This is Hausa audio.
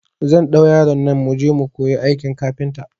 Zan ɗau yaron nan muje mu kuyi aikin kafinta